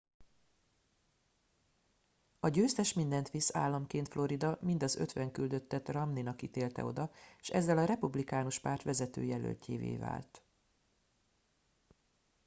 a győztes mindent visz államként florida mind az ötven küldöttet romney nak ítélte oda és ezzel a republikánus párt vezető jelöltjévé vált